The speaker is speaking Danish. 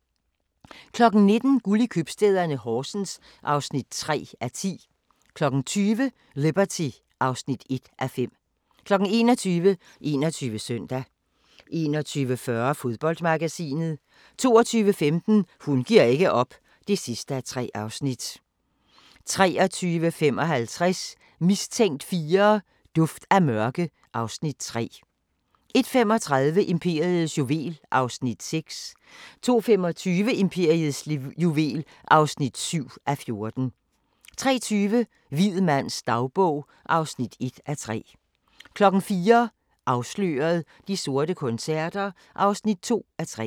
19:00: Guld i købstæderne - Horsens (3:10) 20:00: Liberty (1:5) 21:00: 21 Søndag 21:40: Fodboldmagasinet 22:15: Hun giver ikke op (3:3) 23:55: Mistænkt 4: Duft af mørke (Afs. 3) 01:35: Imperiets juvel (6:14) 02:25: Imperiets juvel (7:14) 03:20: Hvid mands dagbog (1:3) 04:00: Afsløret – De sorte koncerter (2:3)